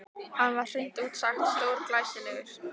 Hann var hreint út sagt stórglæsilegur.